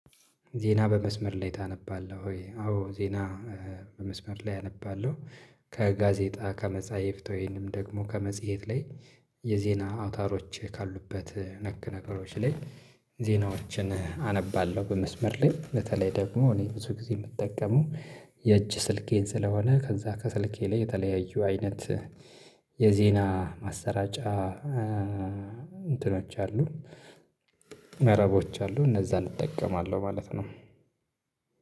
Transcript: ዜና በመስመር ላይ ታነባለህ ወይ? አዎ ዜና በመስመር ላይ አነባለሁ። ከጋዜጣ ከመጻሒፍት ወይንም ደግሞ ከመጽሔት ላይ የዜና አውታሮች ካሉበት እ ነክ ነገሮች ላይ ዜናዎችን አነባለሁ። በመስመር ላይ በተለይ ደግሞ እኔ ብዙ ጊዜ የምጠቀመው የእጅ ስልኬን ስለሆነ ከዛ ከስልኬ ላይ የተለያዩ አይነት የዜና ማሰራጫ እእእ እንትኖች አሉ። መረቦች አሉ እነዛን እጠቀማለሁ ማለት ነው።